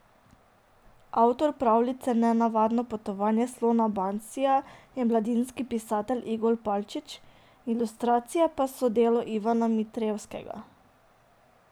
Avtor pravljice Nenavadno potovanje slona Bansija je mladinski pisatelj Igor Palčič, ilustracije pa so delo Ivana Mitrevskega.